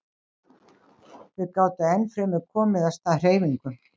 Þau gátu enn fremur komið af stað hreyfingu.